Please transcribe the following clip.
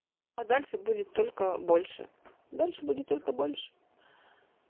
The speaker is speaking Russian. а дальше будет только больше дальше будет только больше